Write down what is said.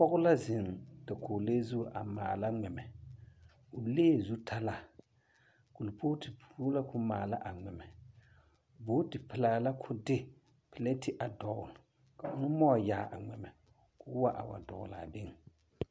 pɔge la zeŋ dakogilee zu a maala ŋmɛmɛ. o lee zutalaa. Kolpooti poɔ la kao maala a ŋmɛmɛ booti pelaa la ka o de pileti a dɔgele ka one maŋ wa yaa a ŋmɛmɛ ka o wa dɔgele a beŋ.